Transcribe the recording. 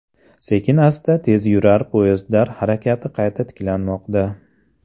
Sekin-asta tezyurar poyezdlar harakati qayta tiklanmoqda.